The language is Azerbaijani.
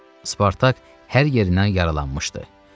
Spartak hər yerindən yaralanmışdı.